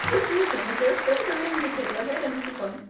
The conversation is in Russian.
слушай мы тебе столько времени предлагали ну типо